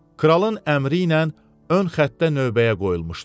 Kralın əmri ilə ön xətdə növbəyə qoyulmuşdu.